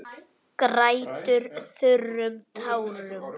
Grætur þurrum tárum.